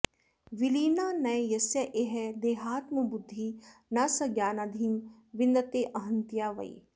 विलीना न यस्येह देहात्मबुद्धिः न स ज्ञानधिं विन्दतेऽहंतया वै